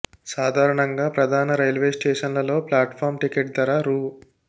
సాధారణంగా ప్రధాన రైల్వే స్టేషన్లలో ప్లాట్ ఫాం టికెట్ ధర రూ